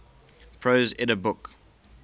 prose edda book